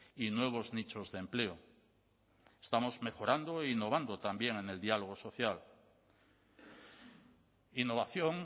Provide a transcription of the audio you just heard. y nuevos nichos de empleo estamos mejorando e innovando también en el diálogo social innovación